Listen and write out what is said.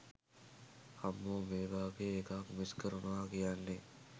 අම්මෝ මේ වගේ එකක් මිස් කරනව කියන්නේ